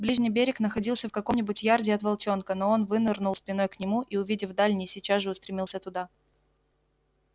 ближний берег находился в каком нибудь ярде от волчонка но он вынырнул спиной к нему и увидев дальний сейчас же устремился туда